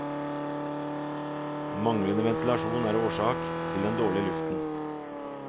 Manglende ventilasjon er årsak til den dårlige luften.